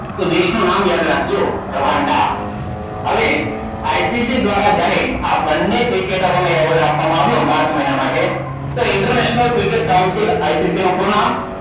તો દેશનું એ નામ યાદ રાખજો રવાન્ડા. હવે ICC દ્વારા જ્યારે આ બંને ક્રિકેટરો એવોર્ડ આપવામાં આવ્યો માર્ચ મહિના માટે. ઇન્ટરનેશનલ ક્રિકેટ કાઉન્સિલ ICC નું પૂરું નામ.